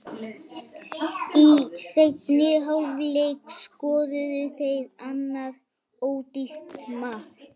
Í seinni hálfleik skoruðu þeir annað ódýrt mark.